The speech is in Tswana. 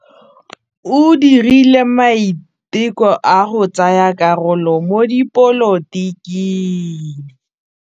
O dirile maitekô a go tsaya karolo mo dipolotiking.